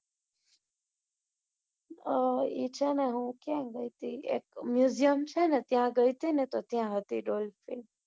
અ એ છે ને હું ક્યા ગઈ હતી એક museum છે ને ત્યાં ગઈ હત મેં ત્યાં હતી dolphin